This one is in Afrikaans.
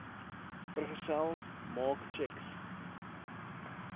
vergesel maak tjeks